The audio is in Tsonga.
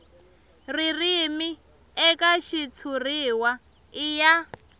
ririmi eka xitshuriwa i ya